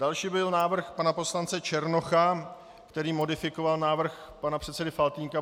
Další byl návrh pana poslance Černocha, který modifikoval návrh pana předsedy Faltýnka.